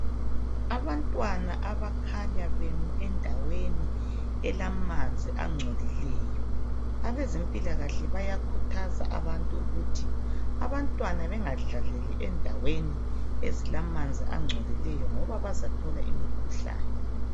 Abantwana abakhanya bemi endaweni elamanzi angcolileyo. Abezempilakahle bayakhuthaza abantu ukuthi abantwana bengadlaleli indaweni ezilamanzi angcolileyo ngoba bazathola imikhuhlane.